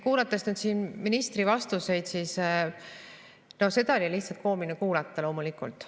Kuulates siin ministri vastuseid, siis seda oli lihtsalt koomiline kuulata, loomulikult.